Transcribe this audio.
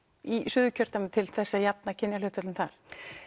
í Suðurkjördæmi til þess að jafna kynjahlutföllin þar u